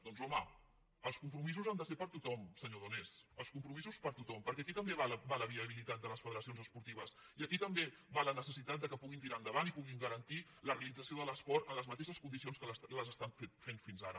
doncs home els compromisos han de ser per a tot·hom senyor donés els compromisos per a tothom perquè aquí també hi va la viabilitat de les federacions esportives i aquí també hi va la necessitat que puguin tirar endavant i puguin garantir la realització de l’es·port en les mateixes condicions en què les estan fent fins ara